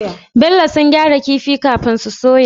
Bello sun gyara kifin kafin su soya?